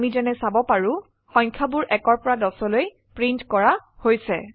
আমি যেনে চাব পাৰো সংখয়াবোৰ 1 পৰা 10লৈ প্ৰিন্ট কৰা হৈছে